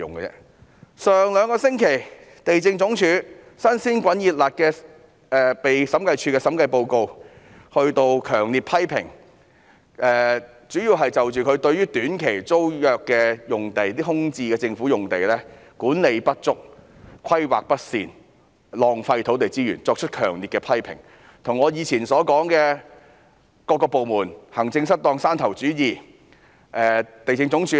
兩星期前，審計署署長發表了針對地政總署的新報告書，主要是強烈批評署方對於政府空置用地的短期租約管理不足、規劃不善及浪費土地資源，這些與我過往批評各個部門行政失當，以及有山頭主義的問題一樣。